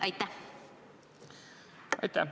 Aitäh!